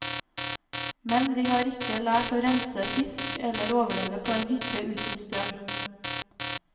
Men de har ikke lært å rense en fisk eller overleve på en hytte uten strøm.